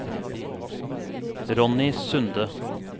Ronny Sunde